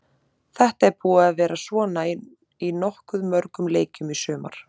Þetta er búið að vera svona í nokkuð mörgum leikjum í sumar.